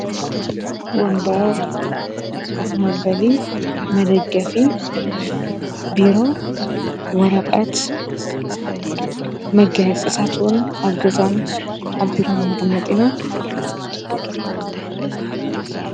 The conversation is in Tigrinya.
ወንበር ኮፍ መበሊ መደገፊ ቢሮ ወረቐት መጋየፂታት እውን ኣብ ገዛን ኣብ ቢሮን ነቐምጥ ኢና።